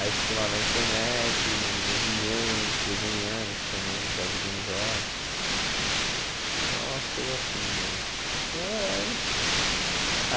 Aí fico lá na internet vendo meus e-mails, desenhando, escutando um Jorge Ben jor, só umas coisas assim mesmo. Eh